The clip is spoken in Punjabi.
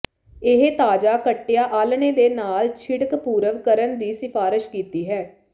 ਇਹ ਤਾਜ਼ਾ ਕੱਟਿਆ ਆਲ੍ਹਣੇ ਦੇ ਨਾਲ ਛਿੜਕ ਪੂਰਵ ਕਰਨ ਦੀ ਸਿਫਾਰਸ਼ ਕੀਤੀ ਹੈ